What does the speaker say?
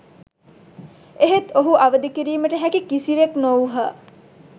එහෙත් ඔහු අවදි කිරීමට හැකි කිසිවෙක් නොවූහ